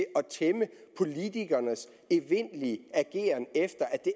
tæmme politikernes evindelige ageren efter at det